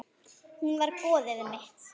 Hún var goðið mitt.